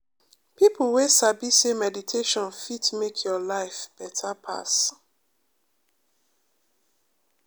people wey sabi say meditation fit make your life better pass.